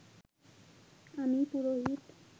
আমি পুরোহিত